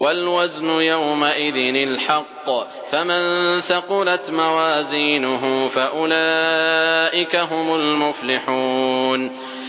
وَالْوَزْنُ يَوْمَئِذٍ الْحَقُّ ۚ فَمَن ثَقُلَتْ مَوَازِينُهُ فَأُولَٰئِكَ هُمُ الْمُفْلِحُونَ